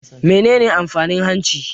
Menene amfanin hanci?